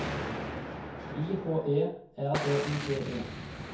I H E R D I G E